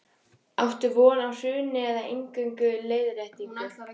Þóra Kristín Ásgeirsdóttir: Áttu von á hruni eða eingöngu leiðréttingu?